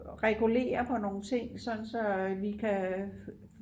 regulere på nogle ting sådan så at vi kan